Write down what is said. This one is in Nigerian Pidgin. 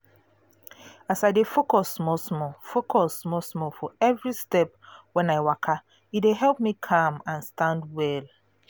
as i dey focus small small focus small small for every step when i waka e dey help me calm and stand well